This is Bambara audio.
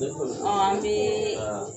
An b'iii